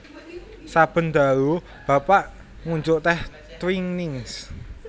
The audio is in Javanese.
Saben dalu Bapak ngunjuk teh Twinings